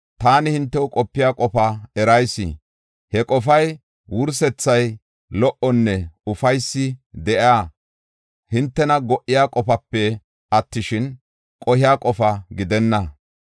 Taani hintew qopiya qofaa erayis. He qofay, wursethay lo77onne ufaysi de7iya, hintena go77iya qofape attishin, qohiya qofa gidenna.